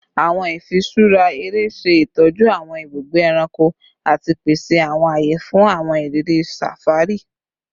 Awọn ifiṣura ere ṣe itọju awọn ibugbe ẹranko ati pese awọn aye fun awọn iriri safari